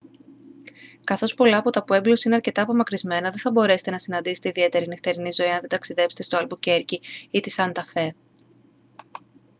καθώς πολλά από τα πουέμπλος είναι αρκετά απομακρυσμένα δεν θα μπορέσετε να συναντήσετε ιδιαίτερη νυχτερινή ζωή αν δεν ταξιδέψετε στο αλμπουκέρκι ή την σάντα φε